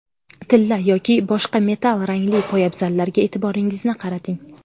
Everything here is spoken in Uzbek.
Tilla yoki boshqa metall rangli poyabzallarga e’tiboringizni qarating.